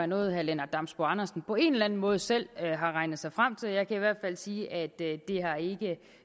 noget herre lennart damsbo andersen på en eller anden måde selv har regnet sig frem til jeg kan i hvert fald sige at det